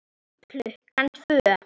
Klukkan tvö.